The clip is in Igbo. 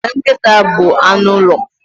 Nkịta bụ anụ ụlọ.